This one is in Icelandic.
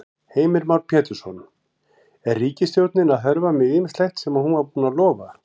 Heimir Már Pétursson: Er ríkisstjórnin að hörfa með ýmislegt sem hún var búin að lofa?